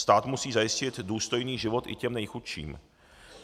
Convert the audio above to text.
Stát musí zajistit důstojný život i těm nejchudším.